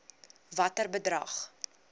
watter bedrag